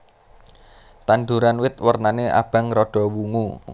Tanduran bit wernané abang rada wungu